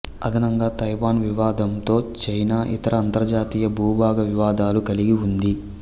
అదనంగా తైవాన్ వివాదంతో చైనా ఇతర అంతర్జాతీయ భూభాగ వివాదాలు కలిగి ఉంది